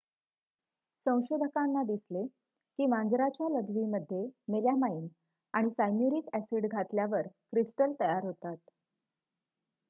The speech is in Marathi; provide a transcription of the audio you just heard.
संशोधकांना दिसले की मांजराच्या लघवीमध्ये मेलॅमाइन आणि सायन्यूरिक ॲसिड घातल्यावर क्रिस्टल तयार होतात